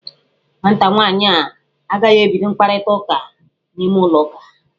Nwata nwaanyị a agaghị ebido mkparịta ụka n'ime ulọ ụka.